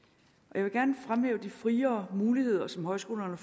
jeg vil gerne fremhæve de friere muligheder som højskolerne